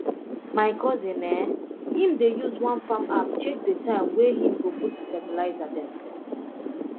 my cousin eh him dey use one farm app check de time way him go put fertilizer um